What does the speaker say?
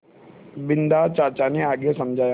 बिन्दा चाचा ने आगे समझाया